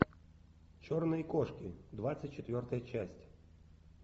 черные кошки двадцать четвертая часть